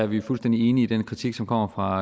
vi fuldstændig enige i den kritik som kommer fra